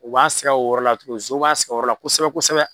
U b'an sɛgɛn o yɔrɔ la tun zonw b'an sɛgɛn o yɔrɔ la kosɛbɛ kosɛbɛ.